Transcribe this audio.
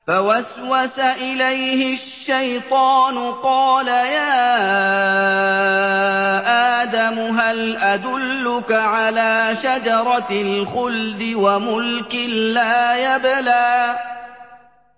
فَوَسْوَسَ إِلَيْهِ الشَّيْطَانُ قَالَ يَا آدَمُ هَلْ أَدُلُّكَ عَلَىٰ شَجَرَةِ الْخُلْدِ وَمُلْكٍ لَّا يَبْلَىٰ